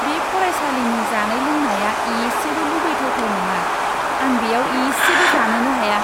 बे फरायसालिनि जानाय लोंनाया इसेबो लुबैथावथाव नङा, आं बेयाव इसेबो जानोनो हाया!